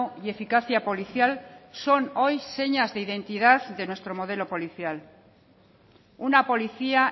y eficacia policial son hoy señas de identidad de nuestro modelo policial una policía